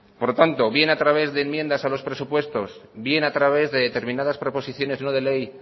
por lo tanto bien a través de enmiendas a los presupuestos bien a través de determinadas proposiciones no de ley